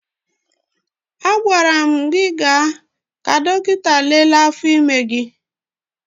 Agwara m gị gaa ka dọkịta lelee afọ ime gị!